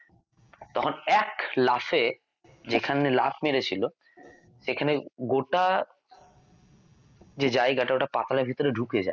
তখন এক লাফে যেখানে লাফ মেরে ছিল সেখানে গোটা যে জায়গাটা পাতালের ভিতরে ঢুকে যায়